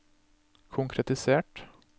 konkretisert